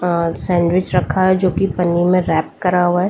Sandwich रखा है जो कि पनीर में रैप करा हुआ है।